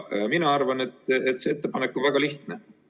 Mina arvan, et see ettepanek on väga lihtne.